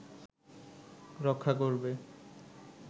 রক্ষা করবে